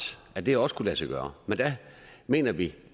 at det også kunne lade sig gøre men der mener vi